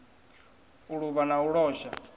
u luvha na u losha